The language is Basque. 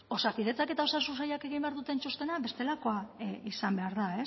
osakidetzak eta osasun sailak egin behar duten txostena bestelakoa izan behar da